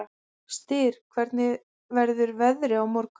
Styr, hvernig verður veðrið á morgun?